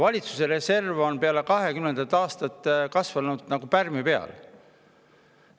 Valitsuse reserv on peale 2020. aastat kasvanud nagu pärmi peal.